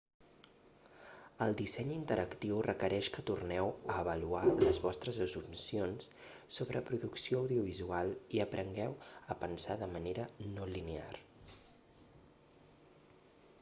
el disseny interactiu requereix que torneu a avaluar les vostres assumpcions sobre producció audiovisual i aprengueu a pensar de manera no linear